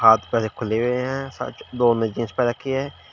हाथ पैर खुले हुए हैं साथ ही दो ने जीन्स पेहन रखी है।